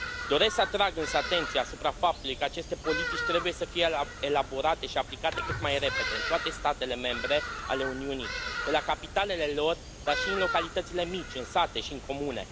Doresc să atrag însă atenția asupra faptului că aceste politici trebuie să fie elaborate și aplicate cât mai repede, în toate statele membre ale Uniunii, de la capitalele lor, dar și în localitățile mici, în sate și n comune.